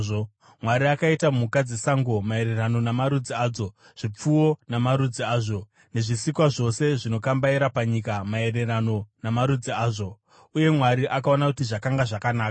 Mwari akaita mhuka dzesango maererano namarudzi adzo, zvipfuwo namarudzi azvo, nezvisikwa zvose zvinokambaira panyika maererano namarudzi azvo. Uye Mwari akaona kuti zvakanga zvakanaka.